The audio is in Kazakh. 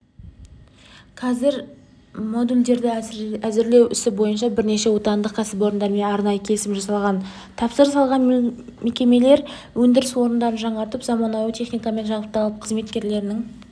қазір модульдерді әзірлеу ісі бойынша бірнеше отандық кәсіпорындармен арнайы келісім жасалған тапсырыс алған мекемелер өндіріс орындарын жаңартып заманауи техникамен жабдықталып қызметкерлерінің